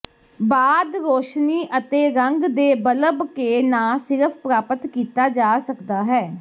ਬਾਅਦ ਰੌਸ਼ਨੀ ਅਤੇ ਰੰਗ ਦੇ ਬਲਬ ਕੇ ਨਾ ਸਿਰਫ਼ ਪ੍ਰਾਪਤ ਕੀਤਾ ਜਾ ਸਕਦਾ ਹੈ